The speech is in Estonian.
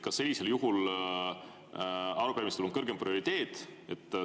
Kas sellisel juhul arupärimistel on kõrgem prioriteet?